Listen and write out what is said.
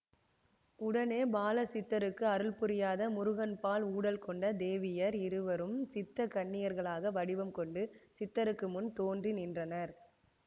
உடனே பாலசித்தருக்கு அருள்புரியாத முருகன்பால் ஊடல் கொண்ட தேவியர் இருவரும் சித்தக் கன்னியர்களாக வடிவம் கொண்டு சித்தருக்கு முன் தோன்றி நின்றனர்